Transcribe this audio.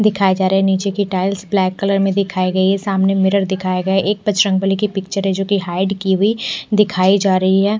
दिखाई जा रही है नीचे कि टाइल्स ब्लैक कलर में दिखाई गई है सामने मिरर दिखाए गए एक बजरंगबली की पिक्चर है जोकि हाइड की हुई दिखाई जा रही है।